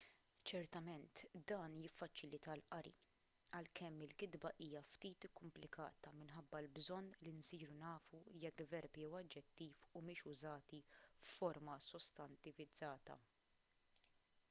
ċertament dan jiffaċilita l-qari għalkemm il-kitba hija ftit ikkumplikata minħabba l-bżonn li nsiru nafu jekk verb jew aġġettiv humiex użati f'forma sostantivizzata